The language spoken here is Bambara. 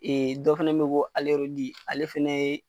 Ee dɔ fana be yen ko ale fana ye